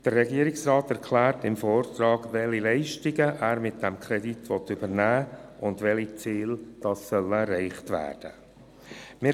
Der Regierungsrat erklärt im Vortrag, welche Leistungen er mit dem Kredit übernehmen will, und welche Ziele erreicht werden sollen.